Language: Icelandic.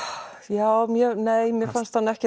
já nei mér fannst hann ekki